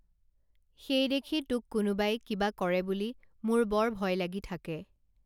সেইদেখি তোক কোনোবাই কিবা কৰে বুলি মোৰ বৰ ভয় লাগি থাকে